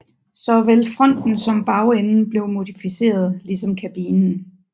Såvel fronten som bagenden blev modificeret ligesom kabinen